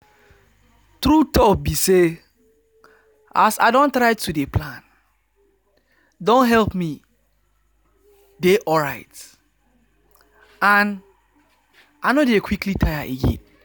true talk be say as i don try to dey plan don help me dey alright and i no dey quickly tire again